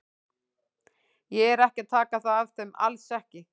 Ég er ekki að taka það af þeim, alls ekki.